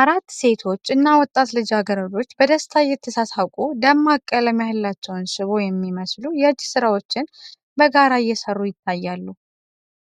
አራት ሴቶች እና ወጣት ልጃገረዶች፣ በደስታ እየተሳሳቁ፣ ደማቅ ቀለም ያላቸውን ሽቦ የሚመስሉ የእጅ ሥራዎች በጋራ እየሰሩ ይታያሉ።